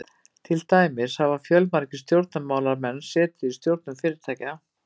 til dæmis hafa fjölmargir stjórnmálamenn setið í stjórnum fyrirtækja